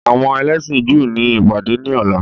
Àwọn ẹlẹ́sìn Júù ni ìpàdé ní ọ̀la.